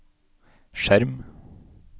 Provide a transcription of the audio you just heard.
skjerm